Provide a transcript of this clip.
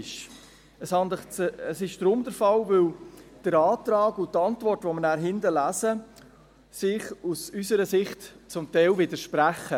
Dies ist deshalb der Fall, weil der Antrag und die Antwort, die wir nachher hinten lesen, sich aus unserer Sicht zum Teil widersprechen.